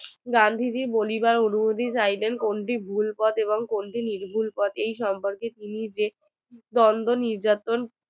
গান্ধীজির বলিবার অনুমতি কোনটি ভুল পথ কোনটি নির্ভুল পথ এই সম্পর্ক এটিনি যে দ্বন্দ্ব নির্যাতন